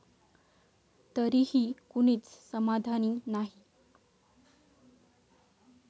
तरीही कुणीच समाधानी नाही!